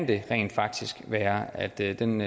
det rent faktisk kan være at den